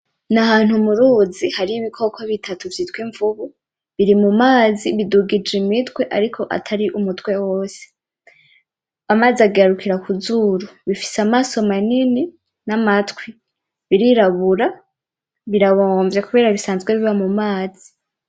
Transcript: N’ahantu mu ruzi hari ibikoko bitatu vyitwa imvubu, biri mu mazi bidugije imitwe ariko atari umutwe wose, amazi agarukira ku zuru, bifise amaso manini n'amatwi, birirabura, birabomvye kubera bisanzwe biba mu mazi.